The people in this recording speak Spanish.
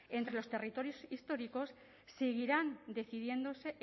entre los territorios históricos seguirá decidiéndose